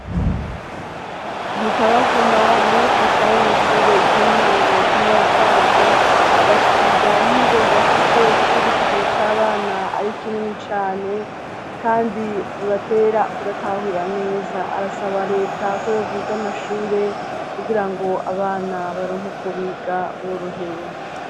Ntitabavuma n'umwigisha wo mw'ishure ry'intango ry'inyarukwavu agashikiriza impungenge afise kuko igitigiri c'abana ari kinini cane kandi bibatera kudatahura neza arasaba leta ko yogwiza amashure kugira ngo abana baronke uko biga borohewe.